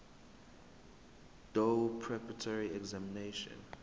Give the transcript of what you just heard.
doe preparatory examination